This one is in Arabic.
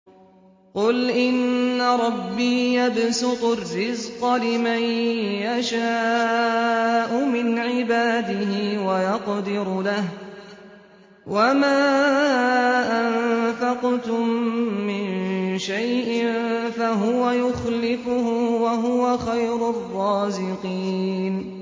قُلْ إِنَّ رَبِّي يَبْسُطُ الرِّزْقَ لِمَن يَشَاءُ مِنْ عِبَادِهِ وَيَقْدِرُ لَهُ ۚ وَمَا أَنفَقْتُم مِّن شَيْءٍ فَهُوَ يُخْلِفُهُ ۖ وَهُوَ خَيْرُ الرَّازِقِينَ